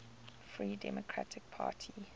free democratic party